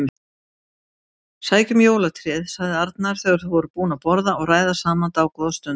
Sækjum jólatréð sagði Arnar þegar þau voru búin að borða og ræða saman dágóða stund.